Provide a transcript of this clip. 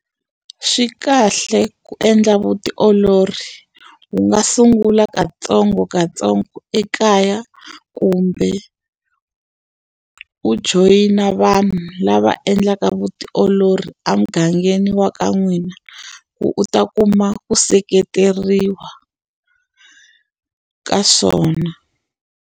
Swi kahle ku endla vutiolori. U nga sungula katsongokatsongo ekaya, kumbe u joyina vanhu lava endlaka vutiolori emugangeni wa ka n'wina, ku u ta kuma ku seketeriwa ka swona.